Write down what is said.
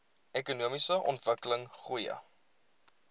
ekonomiese ontwikkeling goeie